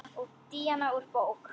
Díana úr bók.